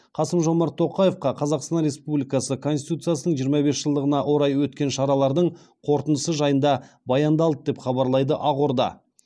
қасым жомарт тоқаевқа қазақстан республикасы конституциясының жиырма бес жылдығына орай өткен шаралардың қорытындысы жайында баяндалды деп хабарлайды ақорда